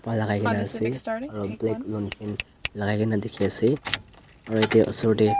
lagai kena ase aru black long pant lagia kena dikhi ase aru ete osor te.